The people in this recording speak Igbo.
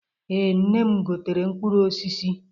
Ee, nne m gotere mkpụrụ osisi.